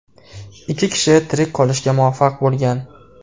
Ikki kishi tirik qolishga muvaffaq bo‘lgan.